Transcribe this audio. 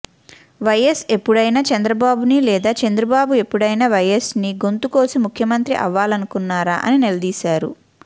YS ఎప్పుడైనా చంద్రబాబుని లేదా చంద్రబాబు ఎప్పుడైనా వైయస్ని గొంతు కోసి ముఖ్యమంత్రి అవ్వాలనుకున్నారా అని నిలదీశారు